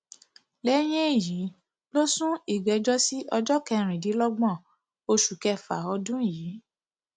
lẹyìn èyí ló sún ìgbẹjọ sí ọjọ kẹrìndínlọgbọn oṣù kẹfà ọdún yìí